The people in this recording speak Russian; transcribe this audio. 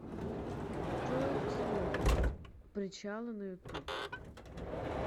джой смолкнут причалы на ютуб